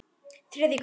Þriðji kafli